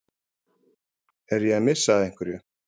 Er ég að missa af einhverju?